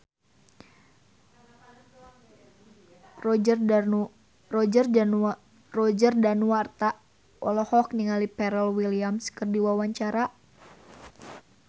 Roger Danuarta olohok ningali Pharrell Williams keur diwawancara